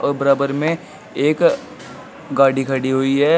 और बराबर में एक गाड़ी खड़ी हुई है।